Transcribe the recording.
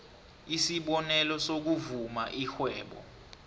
isibonelo sokuvula irhwebo